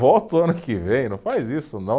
Volta o ano que vem, não faz isso não.